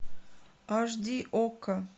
аш ди окко